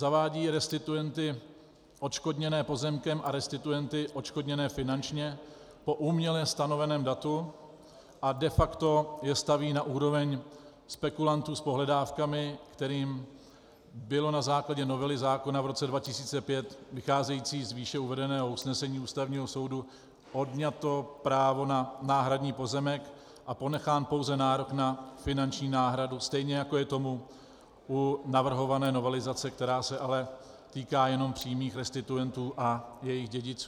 Zavádí restituenty odškodněné pozemkem a restituenty odškodněné finančně po uměle stanoveném datu a de facto je staví na úroveň spekulantů s pohledávkami, kterým bylo na základě novely zákona v roce 2005 vycházející z výše uvedeného usnesení Ústavního soudu odňato právo na náhradní pozemek a ponechán pouze nárok na finanční náhradu, stejně jako je tomu u navrhované novelizace, která se ale týká jenom přímých restituentů a jejich dědiců.